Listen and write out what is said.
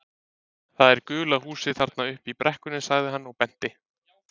Það er gula húsið þarna uppi í brekkunni sagði hann og benti.